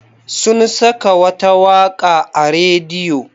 Sun saka wata waƙa a rediyo.